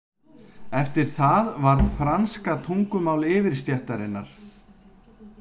Eftir það varð franska tungumál yfirstéttarinnar.